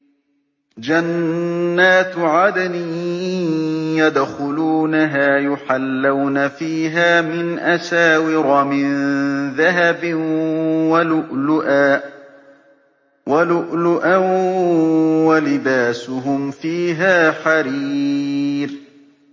جَنَّاتُ عَدْنٍ يَدْخُلُونَهَا يُحَلَّوْنَ فِيهَا مِنْ أَسَاوِرَ مِن ذَهَبٍ وَلُؤْلُؤًا ۖ وَلِبَاسُهُمْ فِيهَا حَرِيرٌ